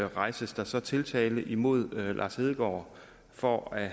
rejses der så tiltale mod lars hedegaard for at